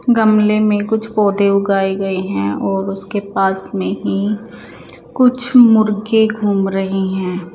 गमले में कुछ पौधे उगाए गये हैं और उसके पास में ही कुछ मुर्गे घूम रहे हैं।